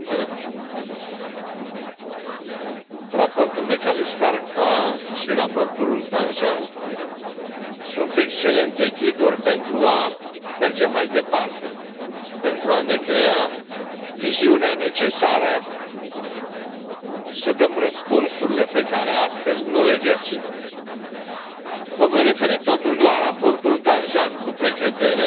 Doamna președintă, raportul McAllister, ca și raportul Danjean sunt excelente ghiduri pentru a merge mai departe, pentru a ne crea viziunea necesară să dăm răspunsurile pe care astăzi nu le găsim. Mă voi referi totuși la raportul Danjean, cu precădere,